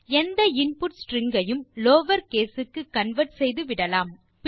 எந்த input string ஐயும் lower case க்கு கன்வெர்ட் செய்துவிடலாம்